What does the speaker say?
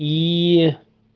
и